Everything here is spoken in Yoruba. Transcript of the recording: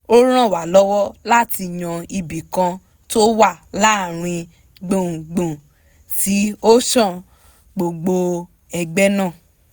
ó ràn wá lọ́wọ́ láti yan ibì kan tó wà láàárín gbùngbùn tí ó san gbogbo ẹgbẹ́ náà